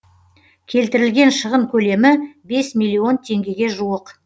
келтірілген шығын көлемі бес миллион теңгеге жуық